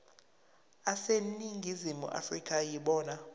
aseningizimu afrika yibona